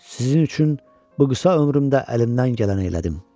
Sizin üçün bu qısa ömrümdə əlimdən gələni elədim.